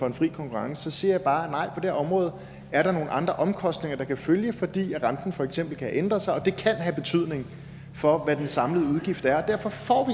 en fri konkurrence så siger jeg bare det område er der nogle andre omkostninger der kan følge fordi renten for eksempel kan ændre sig det kan have betydning for hvad den samlede udgift er og derfor får